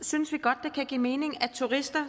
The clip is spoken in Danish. synes vi godt det kan give mening at turister